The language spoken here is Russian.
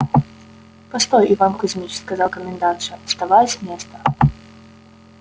постой иван кузьмич сказала комендантша вставая с места